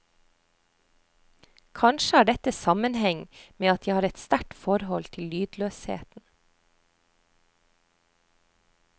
Kanskje har dette sammenheng med at jeg har et sterkt forhold til lydløsheten.